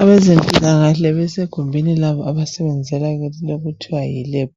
Abezempilakahle besegumbini labo abasebenzela kilo okuthiwa yi lab